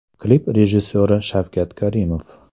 Klip rejissyori Shavkat Karimov.